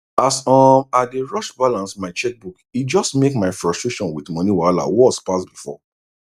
as um i dey rush balance my checkbook e just make my frustration with money wahala worse pass before